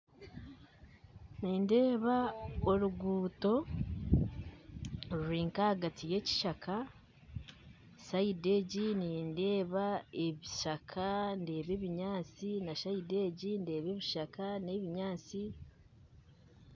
Nindeeba oruguto ruri nka ahagati y'ekishaka sayidi egi nindeeba ebishaka ndeeba ebinyaatsi na sayidi egi ndeeba ebishaka na n'ebinyaatsi